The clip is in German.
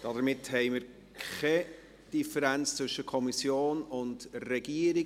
Somit gibt es keine Differenz zwischen Kommission und Regierung.